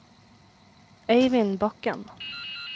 Eivind Bakken